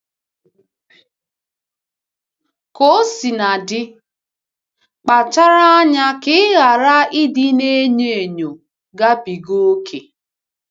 Ka o sina dị, kpachara anya ka ị ghara ịdị na-enyo enyo gabiga ókè.